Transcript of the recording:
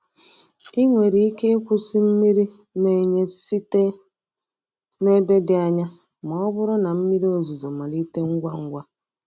Ị nwere ike ịkwụsị mmiri na-enye site na ebe dị anya ma ọ bụrụ na mmiri ozuzo malite ngwa ngwa.